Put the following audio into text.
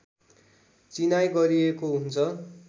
चिनाइ गरिएको हुन्छ